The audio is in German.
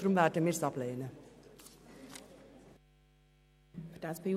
Deshalb lehnen wir den Antrag ab.